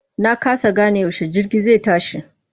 Na kasa gane yaushe jirgin zai tashi.